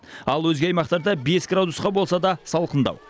ал өзге аймақтарда бес градусқа болса да салқындау